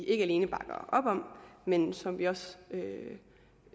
ikke alene bakker op om men som vi også